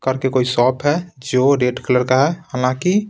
कर के कोई शॉप है जो रेड कलर का है हालांकि--